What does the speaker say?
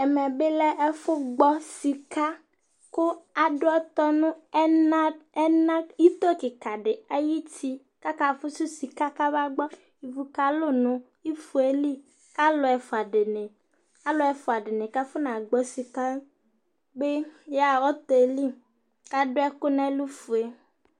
Ɛmɛ lɛ ɛfʊ gbɔ sika, kʊ atsi ɔtɔ nʊ ito kika dɩ ayʊ uti akafʊsʊ sika kamagbɔ, ivu kalʊ nʊ ifo yɛ li, kʊ alʊ ɛfua dɩnɩ kʊ afɔnagbɔ sika yɛ bɩ yaɣa ɔtɔ yɛ li, kʊ adʊ ɛkʊ fue nʊ ɛlʊ